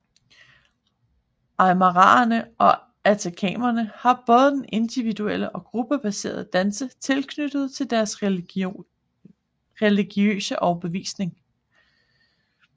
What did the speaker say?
Aymaraerne og atacamaerne har både individuelle og gruppebaserede danse knyttet til deres religiøse overbevisning